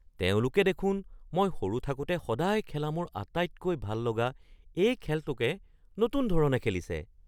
তেওঁলোকে দেখোন মই সৰু থাকোঁতে সদায় খেলা মোৰ আটাইতকৈ ভাল লগা এই খেলটোকে নতুন ধৰণে খেলিছে!